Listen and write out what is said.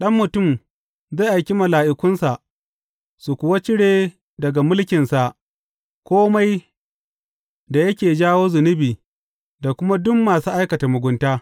Ɗan Mutum zai aiki mala’ikunsa, su kuwa cire daga mulkinsa kome da yake jawo zunubi da kuma duk masu aikata mugunta.